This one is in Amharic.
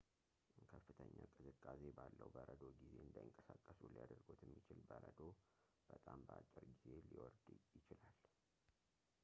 ከፍተኛ ቅዝቃዜ ባለው በረዶ ጊዜ እንዳይንቀሳቀሱ ሊያደርጎት የሚችል በረዶ በጣም በአጭር ጊዜ ሊወርድ ይችላል